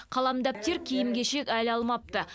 қалам дәптер киім кешек әлі алмапты